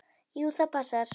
Jú, það passar.